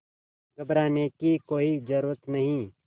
घबराने की कोई ज़रूरत नहीं